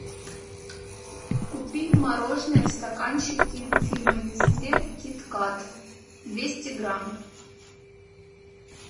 купи мороженое в стаканчике фирмы нестле киткат двести грамм